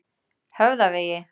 Höfðavegi